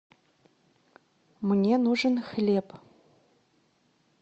мне нужен хлеб